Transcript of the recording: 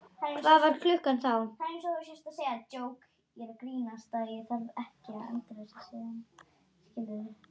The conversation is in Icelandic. Hvað var klukkan þá?